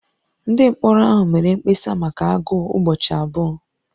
Ndị mkpọrọ ahụ mere mkpesa maka agụụ ụbọchị abụọ